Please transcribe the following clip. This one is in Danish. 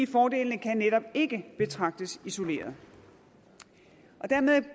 fordelene kan netop ikke betragtes isoleret dermed